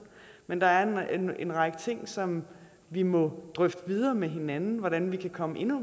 men der er en række ting som vi må drøfte videre med hinanden hvordan vi kan komme endnu